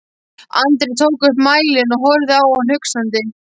Andri tók upp mælinn og horfði á hann hugsandi.